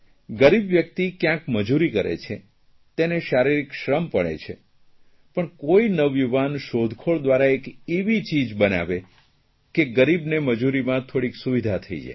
ગરીબ વ્યકિત ક્યાંક મજૂરી કરે છે તેને શારીરીક શ્રમ પડે છે પણ કોઇ નવયુવાન શોધખોળ દ્વારા એક એવી ચીજ બનાવે કે ગરીબને મજૂરીમાં થોડીક સુવિધા થઇ જાય